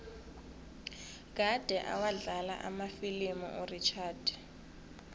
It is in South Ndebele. kade awadlala amafilimu urichard